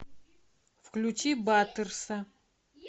включи батерса